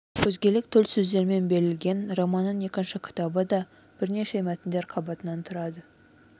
өзгелік төл сөздермен берілген романның екінші кітабы да бірнеше мәтіндер қабатынан тұрады